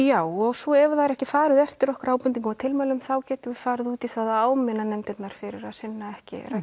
já og svo ef það er ekki farið eftir okkar ábendingum og tilmælum þá getum við farið út í það að áminna nefndirnar fyrir að sinna ekki